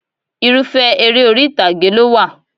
Irúfẹ́ eré orí ìtàgé ló wà